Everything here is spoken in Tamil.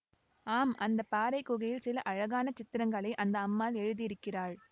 ஆம் அந்த பாறைக் குகையில் சில அழகான சித்திரங்களை அந்த அம்மாள் எழுதியிருக்கிறாள்